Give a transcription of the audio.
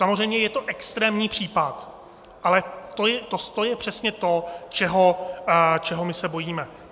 Samozřejmě je to extrémní případ, ale to je přesně to, čeho my se bojíme.